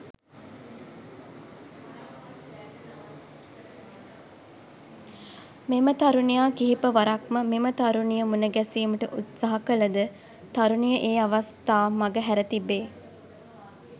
මෙම තරුණයා කිහිප වරක්ම මෙම තරුණිය මුණගැසීමට උත්සාහ කළ ද තරුණිය ඒ අවස්ථා මගහැර තිබේ.